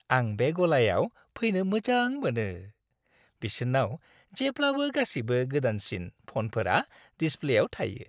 आं बे गलायाव फैनो मोजां मोनो। बिसोरनाव जेब्लाबो गासिबो गोदानसिन फनफोरा डिसप्लेयाव थायो।